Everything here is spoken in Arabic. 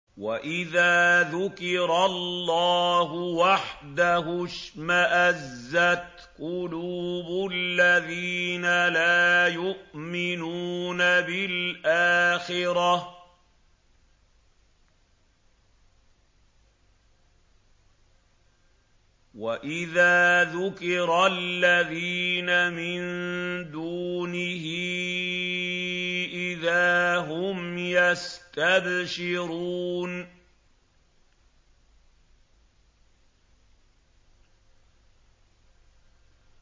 وَإِذَا ذُكِرَ اللَّهُ وَحْدَهُ اشْمَأَزَّتْ قُلُوبُ الَّذِينَ لَا يُؤْمِنُونَ بِالْآخِرَةِ ۖ وَإِذَا ذُكِرَ الَّذِينَ مِن دُونِهِ إِذَا هُمْ يَسْتَبْشِرُونَ